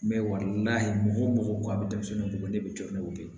N bɛ wari layi mɔgɔ k'a bɛ denmisɛnnin ko ne bɛ jɔ n'o ye